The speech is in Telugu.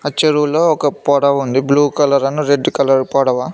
ఆ చెరువులో ఒక పడవ ఉంది బ్లూ కలర్ అని రెడ్ కలర్ పడవ.